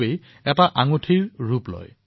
সেইবাৰে এনে আঙুঠিৰ সৃষ্টি হয়